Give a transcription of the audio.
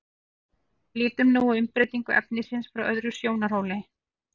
lítum nú á umbreytingu efnisins frá öðrum sjónarhóli